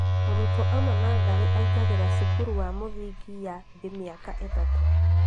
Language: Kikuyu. Mũrutwo oima natharĩ akaingĩra cukuru wa mũthingi ya thĩ mĩaka itatũ